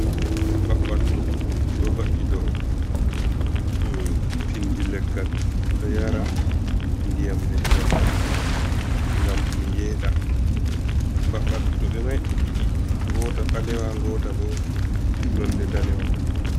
Mbaɓattu ɗo va’i dou pindi leggal ɗo yara ndiyam leggal man gam ɗum yeɗa. Mbaɓattu ɓe mai ɗi ɗiɗi, ngota ɓalewa, ngota bo nonde ndanewa.